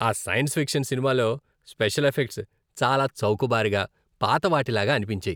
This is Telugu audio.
ఆ సైన్స్ ఫిక్షన్ సినిమాలోని స్పెషల్ ఎఫెక్ట్స్ చాలా చౌకబారుగా, పాతవాటిలాగా అనిపించాయి.